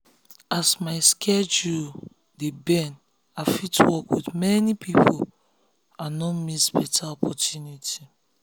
as my schedule dey bend i fit work with many people and no miss better opportunity.